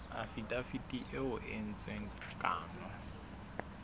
afidaviti eo ho entsweng kano